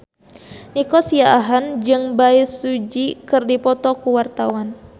Nico Siahaan jeung Bae Su Ji keur dipoto ku wartawan